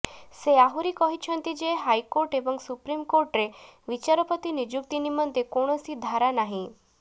ସେ ଆହୁରି କହିଛନ୍ତି ଯେ ହାଇକୋର୍ଟ ଏବଂ ସୁପ୍ରିମ୍ କୋର୍ଟରେ ବିଚାରପତି ନିଯୁକ୍ତି ନମନ୍ତେ କୌଣସି ଧାରା ନାହିଁ